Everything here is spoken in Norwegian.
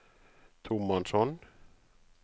tomannshånd